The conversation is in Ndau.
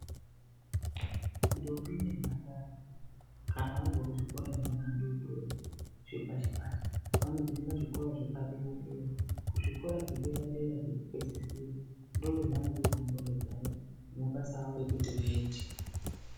Ntombi nemphandara kana abva kuzvikora zveana adoodori, zvepashi-pashi, vanozoenda kuzvikora zvepadera-dera. Kuzvikora zvedera-dera zvekupedzisira, ndozvevanovhurwa ngqondo dzawo nemabasa awo ekuti vaite.